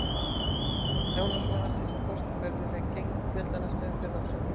Jónas vonast til að Þorsteinn verði með gegn Fjölni í næstu umferð á sunnudaginn.